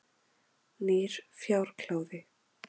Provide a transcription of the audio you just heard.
Nýr fjárkláði.